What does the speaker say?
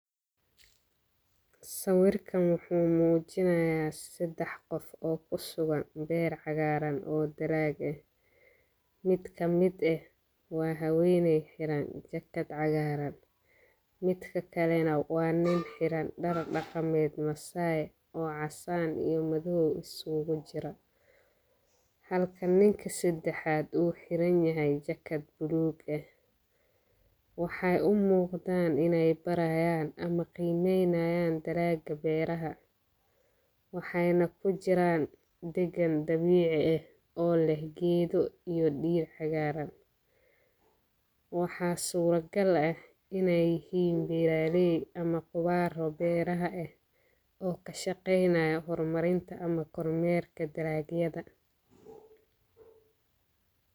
Saawirka wuxuu muujinayaa saddex qof oo ku sugan beer cagaaran oo daraag ah. Mid ka mid ah waa ha weynay xiran jakad cagaaran. Mid ka kale nawaan nin xiran dhar dhakameed masae oo casan iyo madow isugu jira. Halka ninka saddexaad uu xiranyahay jakad buluug ah. Waxay u muuqdaan inay barayaan ama qiimaynayaan daraaga beeraha. Waxayna ku jiraan degan dabiici ah oo leh geedo iyo dhiir cagaaran. Waxaa surogal ah inay hiib bilalii ama khubaaro beeraha ah oo ka shaqeynaa horumarinta ama kormeerka daraagyada.